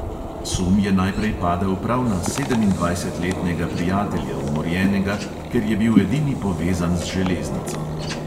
Sum je najprej padel prav na sedemindvajsetletnega prijatelja, umorjenega, ker je bil edini povezan z železnico.